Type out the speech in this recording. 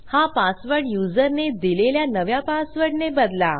हा पासवर्ड युजरने दिलेल्या नव्या पासवर्डने बदला